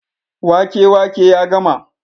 wake wake ya gama